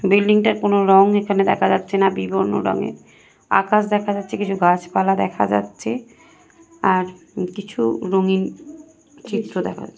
বিল্ডিংটায় কোন রং এখানে দেখা যাচ্ছে না বিবর্ণ রঙের আকাশ দেখা যাচ্ছে কিছু গাছপালা দেখা যাচ্ছে আর কিছু রঙিন চিত্র দেখা যা--